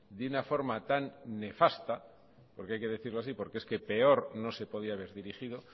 de una forma tan nefasta porque hay que decirlo así porque peor no se podía haber dirigido